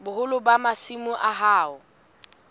boholo ba masimo a hao